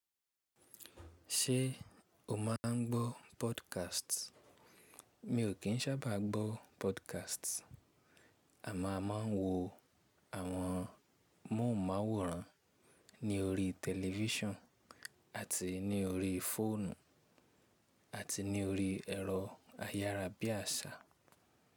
Ṣé o máa ń gbọ́ podcast? Mi ò kín sábàá gbọ́ podcast, àmọ́ a máa ń wo àwọn móhùnmáwòrán ní orí tẹlifísàn àti ní orí fóònù àti ní orí ẹ̀rọ ayárabíàṣá.